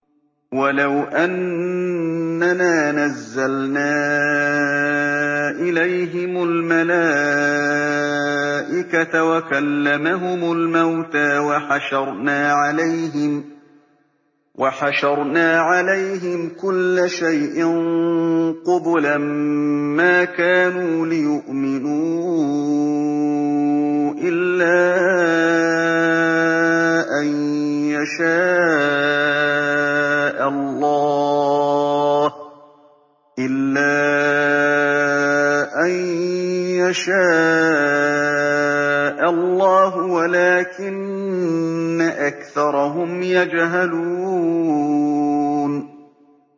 ۞ وَلَوْ أَنَّنَا نَزَّلْنَا إِلَيْهِمُ الْمَلَائِكَةَ وَكَلَّمَهُمُ الْمَوْتَىٰ وَحَشَرْنَا عَلَيْهِمْ كُلَّ شَيْءٍ قُبُلًا مَّا كَانُوا لِيُؤْمِنُوا إِلَّا أَن يَشَاءَ اللَّهُ وَلَٰكِنَّ أَكْثَرَهُمْ يَجْهَلُونَ